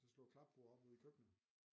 Så slå et klapbord op ude i køkkenet